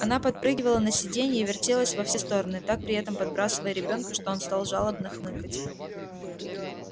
она подпрыгивала на сиденье и вертелась во все стороны так при этом подбрасывая ребёнка что он стал жалобно хныкать